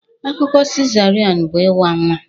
Akụkụ cesarean bụ ịwa nwa